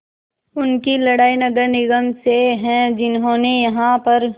उनकी लड़ाई नगर निगम से है जिन्होंने यहाँ पर